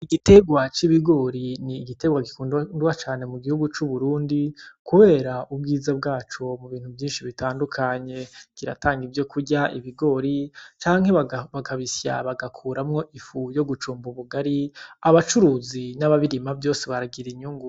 Igiterwa c’ibigori ni igiterwa gikundaa cane mu gihugu c’Uburundi kubera ubwiza bwaco ku bintu vyinshi bitandukanye. Kiratanga ivyo kurya ibigori canke bakabisya bagakuramwo ifu ryo gucumba ubugari, abacuruzi n’ababirima bose vyose baragira inyungu.